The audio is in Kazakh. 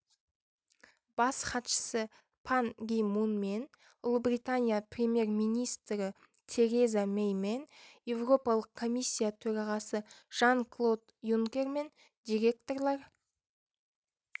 бас хатшысы пан ги мунмен ұлыбритания премьер-министрі тереза мэймен еуропалық комиссия төрағасы жан-клод юнкермен директорлар